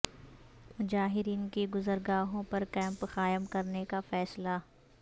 مہاجرین کی گزرگاہوں پر کیمپ قائم کرنے کا فیصلہ